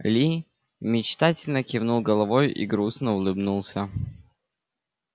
ли мечтательно кивнул головой и грустно улыбнулся